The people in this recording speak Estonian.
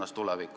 Aeg!